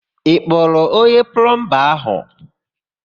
Ị kpọrọ onye plọmba áhụ̀?